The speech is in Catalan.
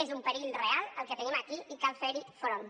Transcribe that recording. és un perill real el que tenim aquí i cal fer hi front